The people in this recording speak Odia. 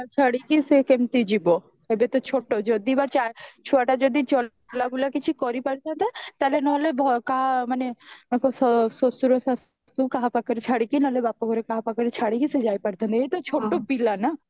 ଛାଡିକି ସେ କେମିତି ଯିବ ଏବେ ତ ଛୋଟ ଯଦି ବା ଛୁଆଟା ଯଦି ଚଲାବୁଲା କିଛି କରି ପାରୁଥାନ୍ତା ତାହେଲେ ନହେଲେ କାହା ମାନେ ତାଙ୍କ ଶଶୁର ଶାଶୁ କାହା ପାଖେରେ ଛାଡିକି ନହଲେ ବାପ ଘରେ କାହା ପାଖରେ ଛାଡିକି ସେ ଯାଇ ପାରିଥାନ୍ତା ଏଇ ତ ଛୋଟ ପିଲା ନା